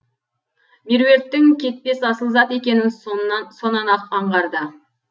меруерттің кетпес асыл зат екенін сонан ақ аңғарды